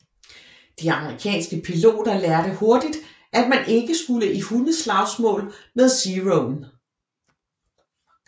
De amerikanske piloter lærte hurtigt at man ikke skulle i hundeslagsmål med Zeroen